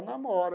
Namora.